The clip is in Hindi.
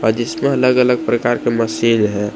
जिसमें अलग अलग प्रकार का मशीन है।